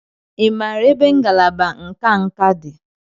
Ị maara ebe ngalaba nka nka dị?